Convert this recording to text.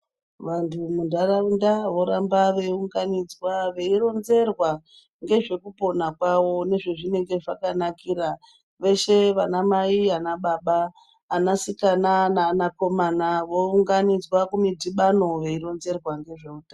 Vantu mundaraunda voramba veunganidzwa veironzerwa ngezvekupona kwawo ngezve zvazvinenge zvakanakira veshe ana mai ana baba ana sikana naana komana vounganidzwa kumidhibano veironzerwa ngezvehutano.